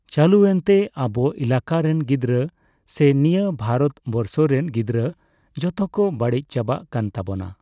ᱪᱟᱞᱩ.ᱮᱱᱛᱮ ᱟᱵᱚ ᱮᱞᱟᱠᱟ ᱨᱮᱱ ᱜᱤᱫᱽᱨᱟᱹ ᱥᱮ ᱱᱤᱭᱟᱹ ᱵᱷᱟᱨᱚᱛᱵᱚᱨᱥᱚ ᱨᱮᱱ ᱜᱤᱫᱽᱨᱟᱹ ᱡᱚᱛᱚ ᱠᱚ ᱵᱟᱹᱲᱤᱡ ᱪᱟᱵᱟᱜ ᱠᱟᱱ ᱛᱟᱵᱚᱱᱟ᱾